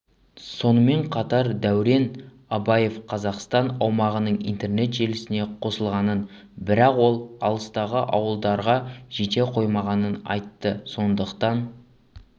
сонымен қатар дәурен абаевқазақстан аумағының интернет желісіне қосылғанын бірақ ол алыстағы ауылдарға жете қоймағанын айтты сондықтан